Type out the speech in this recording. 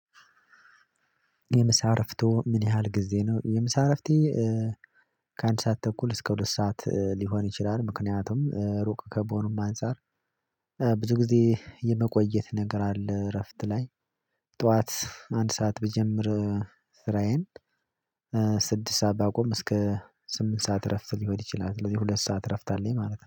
የምሳ እረፍቶ ምን ያህል ጊዜ ነው? የምሳ እረፍቴ ከአንድ ሰዓት ተኩል እስከ ሁለት ሰዓት ሊሆን ይችላል። ምክንያቱም ሩቅ ከመሆኑም አንፃር ብዙ ጊዜ የመቆየት ነገር አለ እረፍት ላይ። ጠዋት አንድ ሰዓት ብጀምር ስራዬን ስድስት ሰዓት ባቆም እስከ ስምንት ሰዓት እረፍት ሊሆን ይችላል። ስለዚህ ሁለት ሰዓት እረፍት አለኝ ማለት ነው